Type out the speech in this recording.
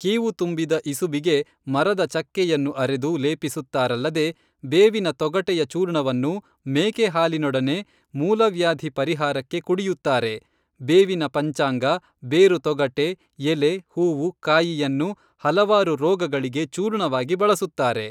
ಕೀವು ತುಂಬಿದ ಇಸುಬಿಗೆ ಮರದ ಚಕ್ಕೆಯನ್ನು ಅರೆದು ಲೇಪಿಸುತ್ತಾ ರಲ್ಲದೆ ಬೇವಿನ ತೊಗಟೆಯ ಚೂರ್ಣವನ್ನು ಮೇಕೆ ಹಾಲಿನೊಡನೆ ಮೂಲವ್ಯಾದಿ ಪರಿಹಾರಕ್ಕೆ ಕುಡಿಯುತ್ತಾರೆ ಬೇವಿನ ಪಂಚಾಂಗ ಬೇರು ತೊಗಟೆ ಎಲೆ ಹೂವು ಕಾಯಿಯನ್ನು ಹಲವಾರು ರೊಗಗಳಿಗೆ ಚೂರ್ಣವಾಗಿ ಬಳಸುತ್ತಾರೆ.